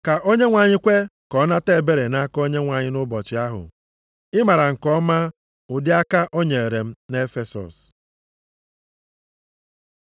Ka Onyenwe anyị kwe ka ọ nata ebere nʼaka Onyenwe anyị nʼụbọchị ahụ. Ị mara nke ọma ụdị aka o nyere m nʼEfesọs.